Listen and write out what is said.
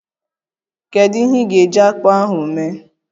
Kedu ihe ị ga-eji akpụ ahu mee?